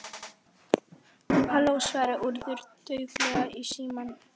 Halló- svaraði Urður dauflega í símann.